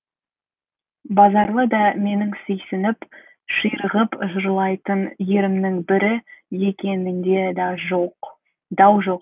базаралы да менің сүйсініп ширығып жырлайтын ерімнің бірі екенінде дау жоқ деді